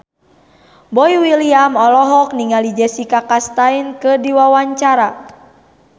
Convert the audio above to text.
Boy William olohok ningali Jessica Chastain keur diwawancara